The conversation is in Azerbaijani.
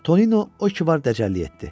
Tonino o ki var dəcəllik etdi.